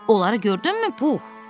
Onları gördünmü, Pux?